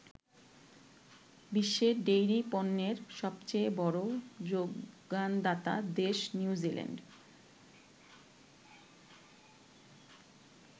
বিশ্বে ডেইরি পণ্যের সবচেয়ে বড় যোগানদাতা দেশ নিউজিল্যান্ড।